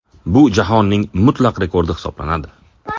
Bu jahonning mutlaq rekordi hisoblanadi.